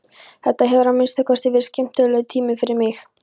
Þetta hefur að minnsta kosti verið skemmtilegur tími fyrir mig.